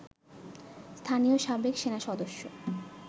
স্থানীয় সাবেক সেনাসদস্য